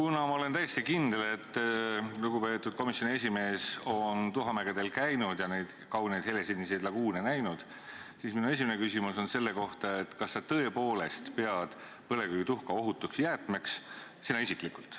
Kuna ma olen täiesti kindel, et lugupeetud komisjoni esimees on tuhamägedel käinud ja neid kauneid helesiniseid laguune näinud, siis minu esimene küsimus on selle kohta, kas sa tõepoolest pead põlevkivituhka ohutuks jäätmeks, sina isiklikult.